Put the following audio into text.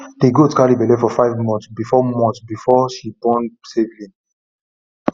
the goat carry belle for five months before months before she born safely